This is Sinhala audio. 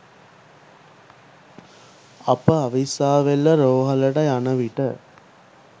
අප අවිස්සාවේල්ල රෝහලට යනවිට